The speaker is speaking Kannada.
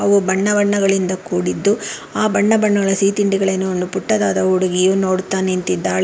ಅವು ಬಣ್ಣ ಬಣ್ಣಗಳಿಂದ ಕೂಡಿದ್ದು ಆ ಬಣ್ಣ ಬಣ್ಣಳ ಸಿಹಿ ತಿಂಡಿಗಳೆನೋ ಒಂದು ಪುಟ್ಟದಾದ ಹುಡುಗಿಯು ನೋಡುತ್ತಾ ನಿಂತಿದ್ದಾಳೆ.